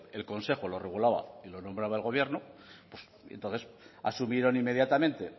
el consejo lo regulaba y lo nombrado el gobierno pues y entonces asumieron inmediatamente